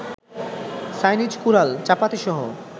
Chinese কুড়াল, চাপাতিসহ